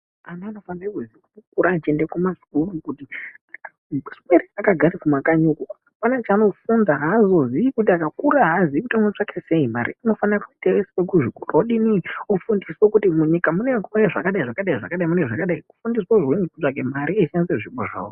Ana anofanire kukura achiende kumasukuru kuti asaswere akagara kumakanyi uku. Hapana zvaanofuna haazozii kuti akakura haazii kuti unotsvaka sei mari. Unofana kuendeswe kuzvikora odini odzidziswa kuti munyika munouya zvakadai-zvakadai nezvakadai kufundiswa kutsvage mari echishandise zvipo zvavo.